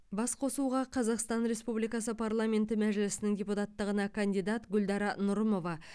басқосуға қазақстан республикасы парламенті мәжілісінің депутаттығына кандидат гүлдара нұрымова